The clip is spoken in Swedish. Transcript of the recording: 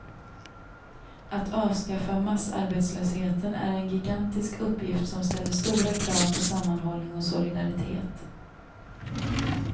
Att avskaffa massarbetslösheten är en gigantisk uppgift som ställer stora krav på sammanhållning och solidaritet.